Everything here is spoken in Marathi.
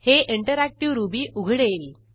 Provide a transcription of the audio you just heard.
हे इंटरऍक्टीव्ह रुबी उघडेल